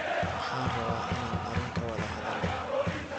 Waxan rawaa inan arin kawadha hadhalno.